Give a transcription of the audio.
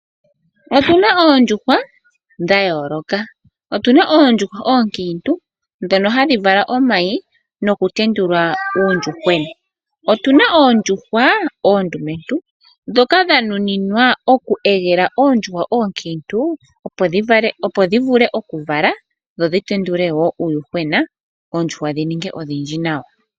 Otuna oondjuhwa dha yooloka. Otuna oondjuhwa oonkiintu ndhono hadhi vala omayi nokutendula uuyuhwena. Otuna oondjuhwa oondumentu ndhoka dha nuninwa oku londa oondjuhwa oonkiintu opo dhi vule oku vala dho dhi tendule woo uuyuhwena oondjuhwa dhi ningi odhindji nawa.